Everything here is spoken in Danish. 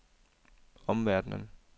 omverdenen